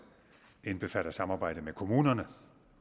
indbefatter samarbejde med kommunerne